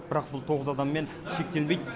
бірақ бұл тоғыз адаммен шектелмейді